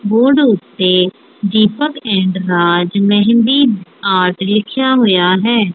Board ਉੱਤੇ Deepak and Raj mehndi art ਲਿਖਿਆ ਹੋਇਆ ਹੈ।